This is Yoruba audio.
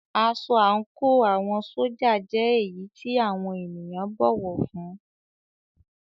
Aṣọ àńkò àwọn ṣójà jẹ́ èyí tí àwọn ènìyàn bọ̀wọ̀ fún ún.